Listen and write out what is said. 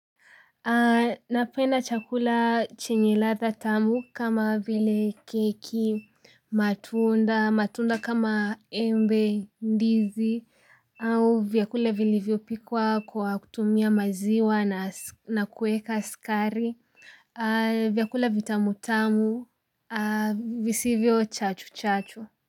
Napenda chakula chenye ladha tamu kama vile keki, matunda, matunda kama embe ndizi au vyakula vilivyopikwa kwa kutumia maziwa na kuweka sukari, vyakula vitamutamu, visivyo chachu chachu.